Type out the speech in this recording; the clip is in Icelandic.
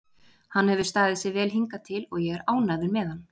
Hann hefur staðið sig vel hingað til og ég er ánægður með hann.